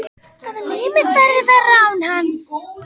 Að líf mitt verði verra án hans.